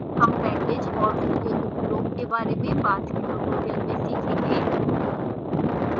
हम package और उसके उपयोग के बारे में बाद के tutorial में सीखेंगे